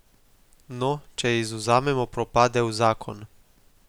No, če izvzamemo propadel zakon.